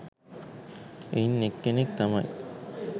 එයින් එක්කෙනෙක් තමයි